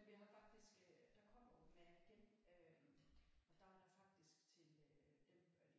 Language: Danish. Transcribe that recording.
Men vi har faktisk øh der kommer open air igen øh og der er faktisk til dem